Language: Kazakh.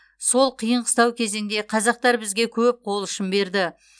сол қиын қыстау кезеңде қазақтар бізге көп қол ұшын берді